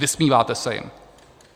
Vysmíváte se jim.